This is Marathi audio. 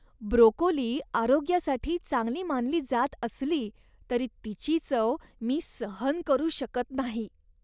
ब्रोकोली आरोग्यासाठी चांगली मानली जात असली तरी तिची चव मी सहन करू शकत नाही.